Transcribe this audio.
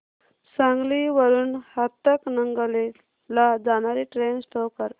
सांगली वरून हातकणंगले ला जाणारी ट्रेन शो कर